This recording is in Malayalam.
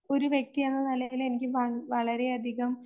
ഒരു വ്യക്തി എന്ന നിലയില് എനിക്ക് വള, വളരെയധികം